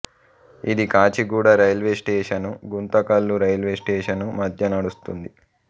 ఇది Kacheguda railway station Guntakal railway station మధ్య నడుస్తుంది